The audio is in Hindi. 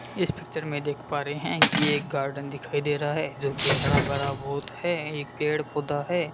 इस पिक्चर में देख पा रहे हैं कि एक गार्डन दिखाई दे रहा है जो कि हरा भरा बहुत है एक पेड़ पौधा है।